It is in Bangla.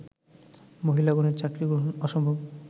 মহিলাগণের চাকরী গ্রহণ অসম্ভব